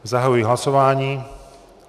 Zahajuji hlasování.